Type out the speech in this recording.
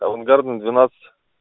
авангардная двенадцать